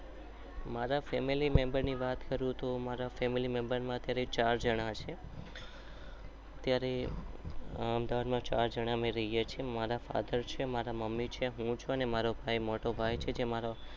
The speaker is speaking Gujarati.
મારા ફમીલ્ય મેમ્બેર ની વાત કરું તો હાલ ચાર જના છે મારા ફઠેર છે